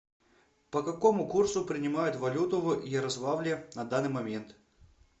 по какому курсу принимают валюту в ярославле на данный момент